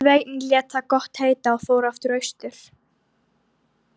Sveinn lét það gott heita og fór aftur austur.